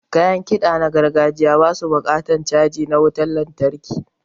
Kayan kiɗa na gargajiya ba su buƙatan caji na wutan lantarki.